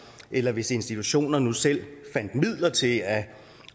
eller hvis institutionerne nu selv fandt midler til at